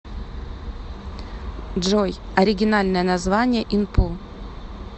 джой оригинальное название инпу